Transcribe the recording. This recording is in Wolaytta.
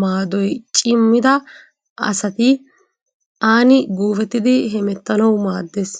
maaddoy cimida asati aani guufettidi hemettanawu maaddees.